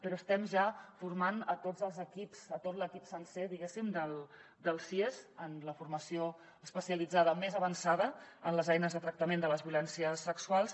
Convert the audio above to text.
però estem ja formant tots els equips tot l’equip sencer diguéssim dels sies amb la formació especialitzada més avançada en les eines de tractament de les violències sexuals